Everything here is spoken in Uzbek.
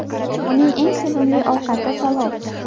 Uning eng sevimli ovqati palov.